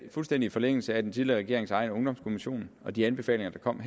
fuldstændig i forlængelse af den tidligere regerings egen ungdomskommission og de anbefalinger der kom